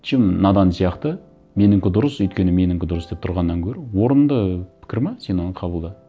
чем надан сияқты менікі дұрыс өйткені менікі дұрыс деп тұрғаннан гөрі орынды пікір ме сен оны қабылда